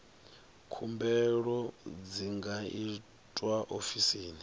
khumbelo dzi nga itwa ofisini